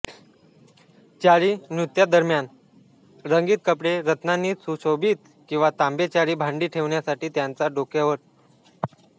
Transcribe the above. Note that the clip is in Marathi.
चारी नृत्यादरम्यान रंगीत कपडे रत्नांनी सुशोभित किंवा तांबे चारी भांडी ठेवण्यासाठी त्यांच्या डोक्यांवर